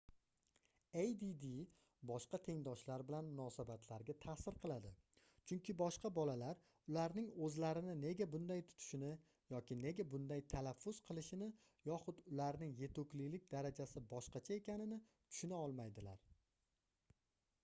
add boshqa tengdoshlar bilan munosabatlarga taʼsir qiladi chunki boshqa bolalar ularning oʻzlarini nega bunday tutishini yoki nega bunday talaffuz qilishini yoxud ularning yetuklik darajasi boshqacha ekanini tushuna olmaydilar